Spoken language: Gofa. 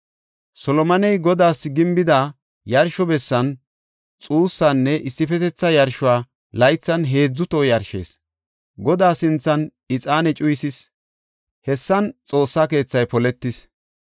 Solomoney Godaas gimbida yarsho bessan xuussanne issifetetha yarsho laythan heedzu toho yarshees. Godaa sinthan ixaane cuyisees; hessan Xoossa keethay poletis.